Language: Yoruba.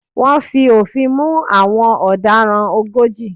Wọ́n fi òfin mú àwọn ọ̀daràn ogójì.